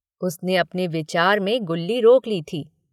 उसने अपने विचार में गुल्ली रोक ली थी।